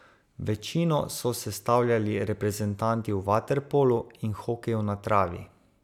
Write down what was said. Večino so sestavljali reprezentanti v vaterpolu in hokeju na travi.